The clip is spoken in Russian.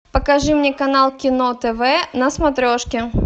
покажи мне канал кино тв на смотрешке